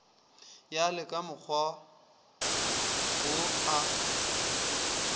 ya le kamokgwa wo a